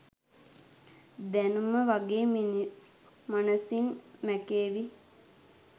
දැනුම වගේ මිනිස් මනසින් මැකේවි.